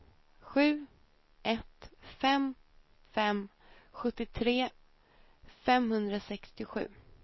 sju ett fem fem sjuttiotre femhundrasextiosju